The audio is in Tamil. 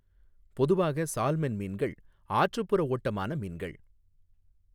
பொதுவாக சால்மென் மீன்கள் ஆற்றுப் புறஓட்டமான மீன்கள்.